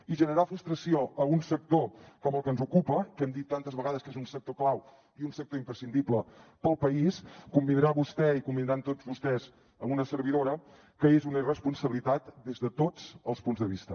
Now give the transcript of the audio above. i generar frustració a un sector com el que ens ocupa que hem dit tantes vegades que és un sector clau i un sector imprescindible per al país convindrà vostè i convindran tots vostès amb una servidora que és una irresponsabilitat des de tots els punts de vista